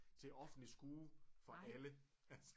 Til offentlig skue for alle altså